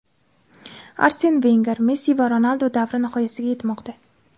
Arsen Venger: Messi va Ronaldu davri nihoyasiga yetmoqda.